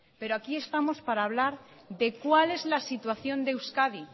pero aquí estamos para hablar de cuál es la situación de euskadi